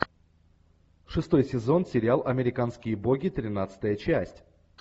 шестой сезон сериал американские боги тринадцатая часть